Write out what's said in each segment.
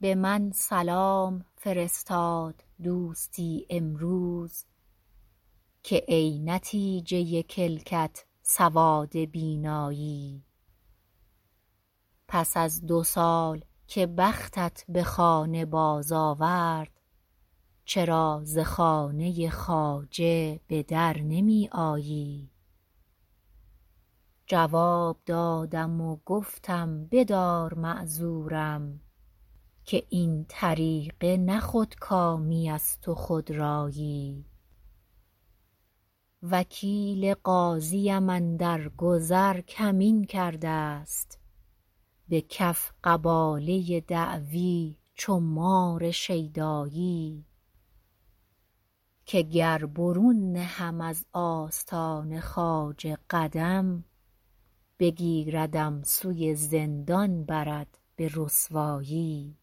به من سلام فرستاد دوستی امروز که ای نتیجه کلکت سواد بینایی پس از دو سال که بختت به خانه باز آورد چرا ز خانه خواجه به در نمی آیی جواب دادم و گفتم بدار معذورم که این طریقه نه خودکامیست و خودرایی وکیل قاضی ام اندر گذر کمین کرده ست به کف قباله دعوی چو مار شیدایی که گر برون نهم از آستان خواجه قدم بگیردم سوی زندان برد به رسوایی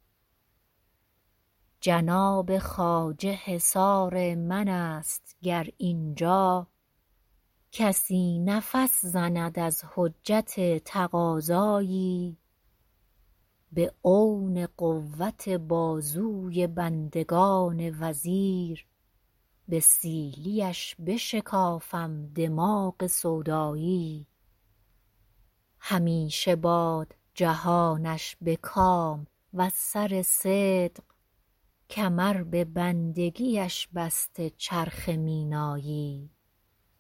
جناب خواجه حصار من است گر اینجا کسی نفس زند از حجت تقاضایی به عون قوت بازوی بندگان وزیر به سیلی اش بشکافم دماغ سودایی همیشه باد جهانش به کام وز سر صدق کمر به بندگی اش بسته چرخ مینایی